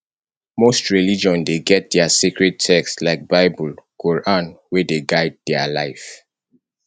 most religion dey get their sacred text like bible quoran wey dey guide their life